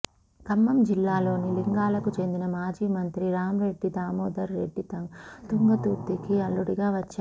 ఖమ్మం జిల్లాలోని లింగాలకు చెందిన మాజీ మంత్రి రాంరెడ్డి దామోదర్ రెడ్డి తుంగతుర్తికి అల్లుడిగా వచ్చాడు